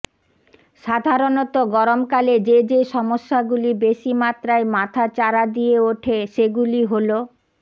সাধারণত গরমকালে যে যে সমস্যাগুলি বেশি মাত্রায় মাথা চারা দিয়ে হয়ে ওঠে সেগুলি হল